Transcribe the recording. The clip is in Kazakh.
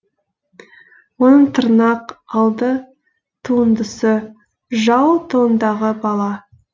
оның тырнақ алды туындысы жау тылындағы бала